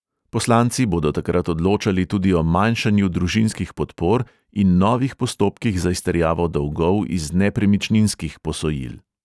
Poslanci bodo takrat odločali tudi o manjšanju družinskih podpor in novih postopkih za izterjavo dolgov iz nepremičninskih posojil.